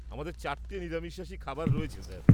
আমাদের চারটে নিরামিষাশী খাবার রয়েছে স্যার।